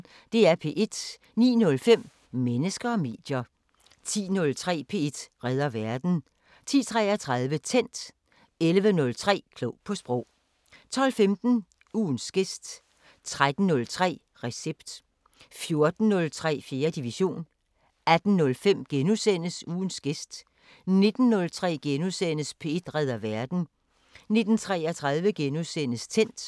09:05: Mennesker og medier 10:03: P1 redder verden 10:33: Tændt 11:03: Klog på Sprog 12:15: Ugens gæst 13:03: Recept 14:03: 4. division 18:05: Ugens gæst * 19:03: P1 redder verden * 19:33: Tændt *